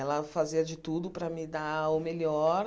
Ela fazia de tudo para me dar o melhor,